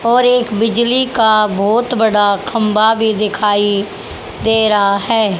और एक बिजली का बहोत बड़ा खंबा भी दिखाई दे रहा है।